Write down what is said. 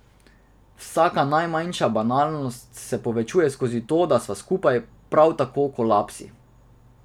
Vsaka najmanjša banalnost se posvečuje skozi to, da sva skupaj, prav tako kolapsi.